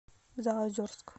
заозерск